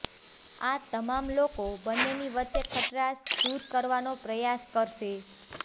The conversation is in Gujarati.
આ તમામ લોકો બંનેની વચ્ચે ખટરાશ દૂર કરવાનો પ્રયાસ કરશે